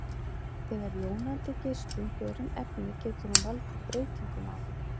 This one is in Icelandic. Þegar jónandi geislun fer um efni getur hún valdið breytingum á því.